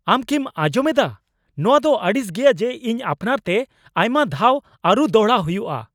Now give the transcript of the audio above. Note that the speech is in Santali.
ᱟᱢ ᱠᱤᱢ ᱟᱸᱡᱚᱢ ᱮᱫᱟ ? ᱱᱚᱣᱟ ᱫᱚ ᱟᱹᱲᱤᱥ ᱜᱮᱭᱟ ᱡᱮ ᱤᱧ ᱟᱯᱱᱟᱨᱛᱮ ᱟᱭᱢᱟ ᱫᱷᱟᱣ ᱟᱹᱨᱩ ᱫᱚᱲᱦᱟ ᱦᱩᱭᱩᱜᱼᱟ ᱾